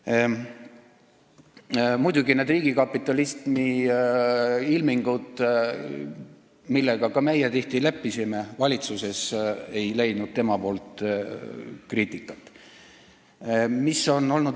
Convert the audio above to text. Muidugi ei leidnud kriitikat need riigikapitalismi ilmingud, millega ka meie valitsuses tihti leppisime.